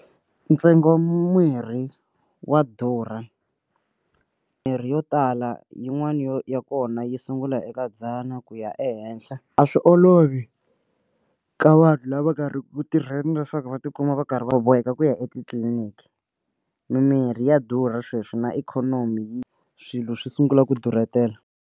Ntsengo mirhi wa durha mirhi yo tala yin'wana yo ya kona yi sungula eka dzana ku ya ehenhla a swi olovi ka vanhu lava nga riki ku tirheni leswaku va tikuma va karhi va boheka ku ya etitliniki mimirhi ya durha sweswi na ikhonomi yi swilo swi sungula ku durhetela.